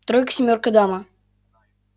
тройка семёрка дама